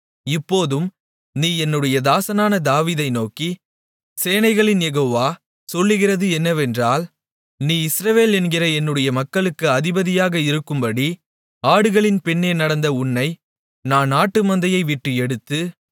இப்போதும் நீ என்னுடைய தாசனான தாவீதை நோக்கி சேனைகளின் யெகோவா சொல்லுகிறது என்னவென்றால் நீ இஸ்ரவேல் என்கிற என்னுடைய மக்களுக்கு அதிபதியாக இருக்கும்படி ஆடுகளின் பின்னே நடந்த உன்னை நான் ஆட்டுமந்தையைவிட்டு எடுத்து